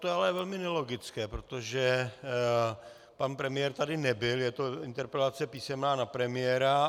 To je ale velmi nelogické, protože pan premiér tady nebyl, je to interpelace písemná na premiéra.